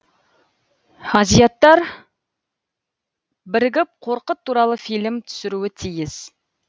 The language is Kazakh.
азияттар бірігіп қорқыт туралы фильм түсіруі тиіс